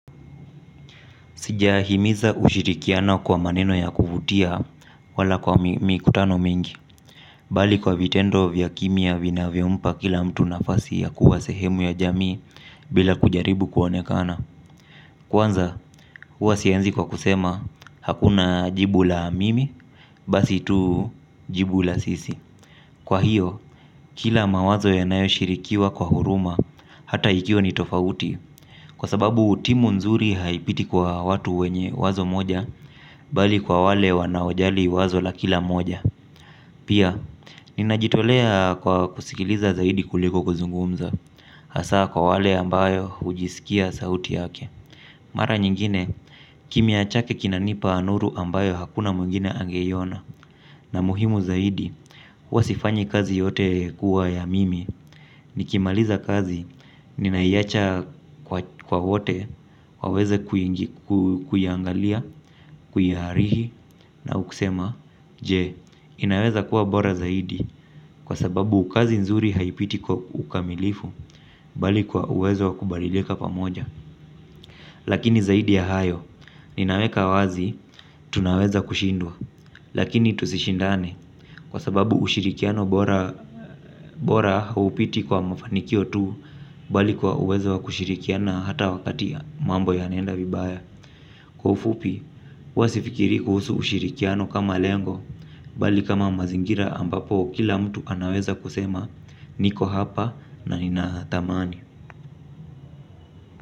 Sijahimiza ushirikiana kwa maneno ya kuvutia wala kwa mikutano mingi. Bali kwa vitendo vya kimia vinavyompa kila mtu nafasi ya kuwa sehemu ya jamii bila kujaribu kuonekana. Kwanza huwa sianzi kwa kusema hakuna jibu la mimi basi tuu jibu la sisi. Kwa hiyo kila mawazo yanayo shirikiwa kwa huruma hata ikiwa ni tofauti. Kwa sababu timu nzuri haipiti kwa watu wenye wazo moja bali kwa wale wanaojali wazo la kila moja. Pia, ninajitolea kwa kusikiliza zaidi kuliko kuzungumza. Hasaa kwa wale ambayo ujisikia sauti yake. Mara nyingine, kimya chake kinanipa nuru ambayo hakuna mwingine angeiona. Na muhimu zaidi, huwa sifanyi kazi yote kuwa ya mimi. Nikimaliza kazi, nina iacha kwa wote, waweze kuiangalia, kuiarihi au kusema, jee, inaweza kuwa bora zaidi kwa sababu kazi nzuri haipiti kwa ukamilifu, bali kwa uwezo wa kubadilika pamoja. Lakini zaidi ya hayo, ninaweka wazi, tunaweza kushindwa, lakini tusishindane, kwa sababu ushirikiano bora haupiti kwa mafanikio tu, bali kwa uweza wa kushirikiana hata wakati mambo yanaenda vibaya. Kwa ufupi, huwa sifikirii kuhusu ushirikiano kama lengo, bali kama mazingira ambapo kila mtu anaweza kusema, niko hapa na nina tamani.